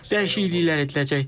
Dəyişikliklər ediləcək.